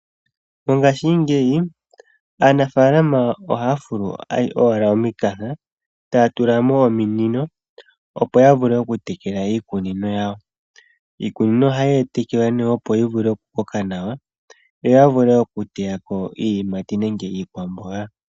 Mongashingeyi aanafaalama ohaya fulu owala omikanka, taya tula mo ominino opo yavule okutekela iikunino yawo. Iikunino ohaye yi tekele opo yivule okukoka nawa yo ya vule okuteya ko iiyimati nenge iikwamboga.